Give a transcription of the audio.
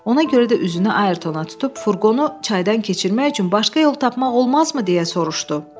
Ona görə də üzünü Ayrtona tutub furqonu çaydan keçirmək üçün başqa yol tapmaq olmazmı deyə soruşdu.